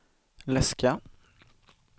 läska